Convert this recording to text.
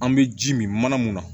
An bɛ ji min mana mun na